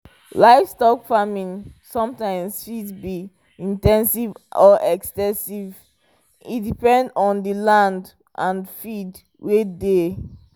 livestock farming sometimes fit be in ten sive or ex ten sive e depend on the land and feed wey dey